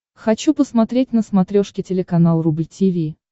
хочу посмотреть на смотрешке телеканал рубль ти ви